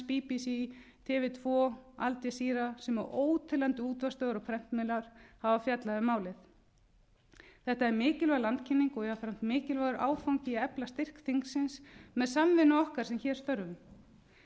york times bbc tv tvö al jazeera sem og óteljandi útvarpsstöðvar og prentmiðlar hafa fjallað um málið þetta er mikilvæg landkynning og jafnframt mikilvægur áfangi í að efla styrk þingsins með samvinnu okkar sem hér störfum